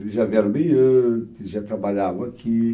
Eles já vieram bem antes, já trabalhavam aqui.